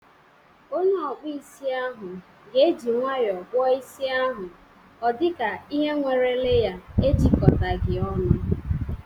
Onye ọkpụ isi ahụ ga eji nwayọọ kpụọ isi ahụ odika ihe nwere leya ejikọghi ọnụ.